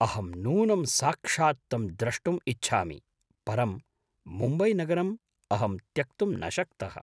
अहं नूनं साक्षात् तं द्रष्टुम् इच्छामि परं मुम्बईनगरम् अहं त्यक्तुं न शक्तः।